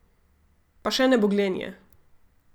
Pa še nebogljen je.